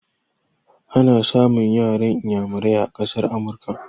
Ana samun yaran iyamurai a ƙasar Amurka.